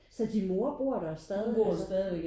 Så din mor bor der stadigvæk så?